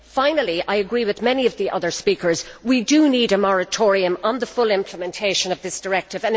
Finally, I agree with many of the other speakers that we do need a moratorium on the full implementation of this directive.